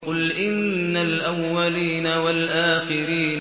قُلْ إِنَّ الْأَوَّلِينَ وَالْآخِرِينَ